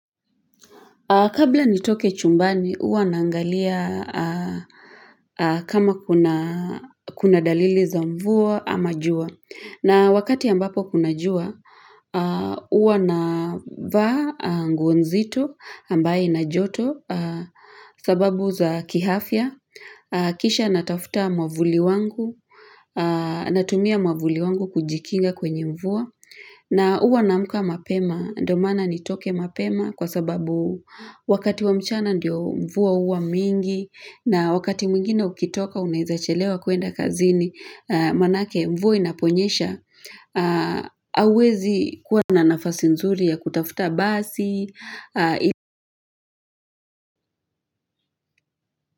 Kabla nitoke chumbani, huwa naangalia kama kuna dalili za mvua ama jua. Na wakati ambapo kuna jua, huwa navaa nguo nzito ambayo ina joto sababu za kiafya. Kisha natafuta mwavuli wangu, natumia mwavuli wangu kujikinga kwenye mvua. Na huwa naamka mapema, ndo maana nitoke mapema kwa sababu wakati wa mchana ndio mvua huwa mingi na wakati mwingine ukitoka unaeza chelewa kwenda kazini, maanake mvua inaponyesha, huwezi kuwa na nafasi nzuri ya kutafuta basi.